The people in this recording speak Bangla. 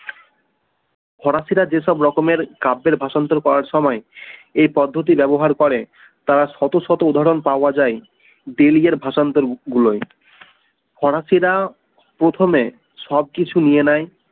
ফরাসিরা যেসব রকমের কাপের ভাষান্তর করার সময় এই পদ্ধতি ব্যবহার করে তার শত শত উদাহরন পাওয়া যায় বিলিয়ের ভাষান্তর গুলাই ফরাসিরা প্রথমে সবকিছু নিয়ে নেয়